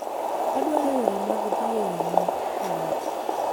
Adwaro yore mag dhi e yo ma Kenyatta